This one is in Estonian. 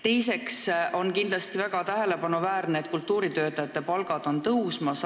Teiseks, kindlasti on väga tähelepanuväärne, et kultuuritöötajate palgad on tõusmas.